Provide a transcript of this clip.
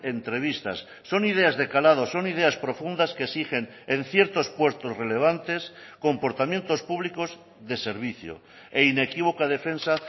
entrevistas son ideas de calado son ideas profundas que exigen en ciertos puestos relevantes comportamientos públicos de servicio e inequívoca defensa